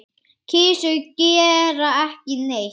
Kisur gera ekki neitt.